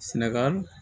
Sɛnɛgali